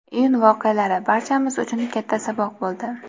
Iyun voqealari barchamiz uchun katta saboq bo‘ldi.